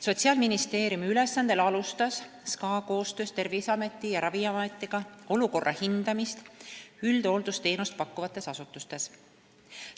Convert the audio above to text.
Sotsiaalministeeriumi ülesandel alustas SKA koostöös Terviseameti ja Ravimiametiga olukorra hindamist üldhooldusteenust pakkuvates asutustes.